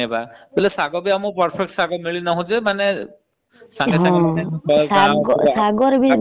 ଶାଗ ଯଦି ବନେଇବା ତାହେଲେ ଶାଗ ବି ଆମକୁ perfect ମିଳୁନି ଆମକୁ।